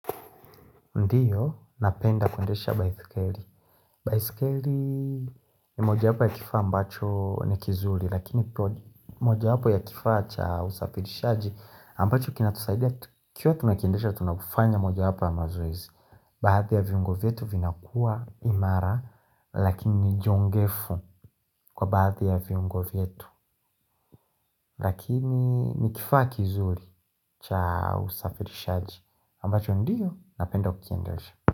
Ndiyo, napenda kuendesha baiskeli. Baiskeli ni moja wapo ya kifaa ambacho ni kizuri, lakini moja wapo ya kifaa cha usafirishaji, ambacho kinatusaidia. Ikiwa tunakiendesha, tunakufanya mojawapo ya mazoizi. Baadhi ya viungo vyetu vinakua imara, lakini jongefu kwa baadhi ya viungo vyetu. Lakini ni kifaa kizuri cha usafirishaji, ambacho ndiyo, napenda kukiendesha.